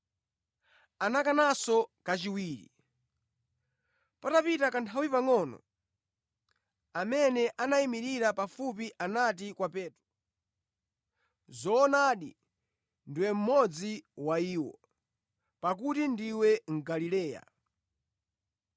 Anakananso kachiwiri. Patapita kanthawi pangʼono, amene anayimirira pafupi anati kwa Petro, “Zoonadi ndiwe mmodzi wa iwo, pakuti ndiwe mu Galileya.”